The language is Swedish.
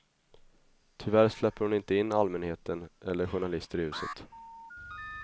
Tyvärr släpper hon inte in allmänheten eller journalister i huset.